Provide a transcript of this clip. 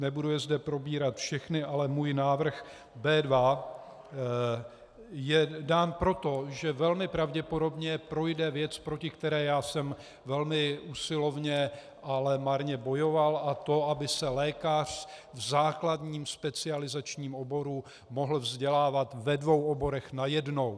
Nebudu je zde probírat všechny, ale můj návrh B2 je dán proto, že velmi pravděpodobně projde věc, proti které já jsem velmi usilovně, ale marně bojoval, a to aby se lékař v základním specializačním oboru mohl vzdělávat ve dvou oborech najednou.